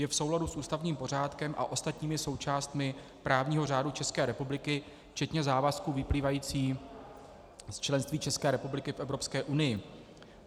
Je v souladu s ústavním pořádkem a ostatními součástmi právního řádu České republiky včetně závazků vyplývajících z členství České republiky v Evropské unii.